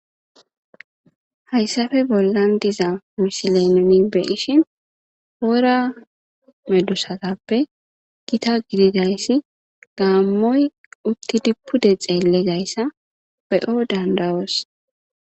Hayssafe bollan diza misileneni be ishin oora medusatappe gita gididayssi gaammoy uttidi pude xeellezayssa be'o dandawoos